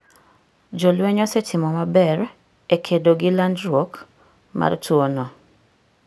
Jolweny osetimo maber e kedo gi landruok mar tuwono.